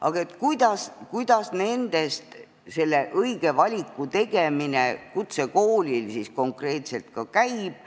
Aga kuidas nende seas õige valiku tegemine kutsekoolis konkreetselt käib?